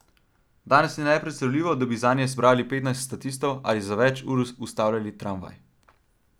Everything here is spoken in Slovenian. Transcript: Danes je nepredstavljivo, da bi zanje zbrali petnajst statistov ali za več ur ustavili tramvaj.